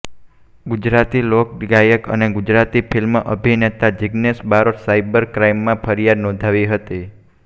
ગુજરાતી લોક ગાયક અને ગુજરાતી ફિલ્મ અભિનેતા જીગ્નેશ બારોટે સાયબર ક્રાઇમમાં ફરિયાદ નોંધાવી હતી